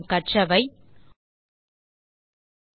நாம் கற்றதை திருப்பிப் பார்க்கலாம்